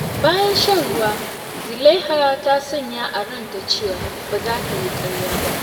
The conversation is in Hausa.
Da safe, Lubna ta yi niyyar yin sadaukarwa domin iyalinta.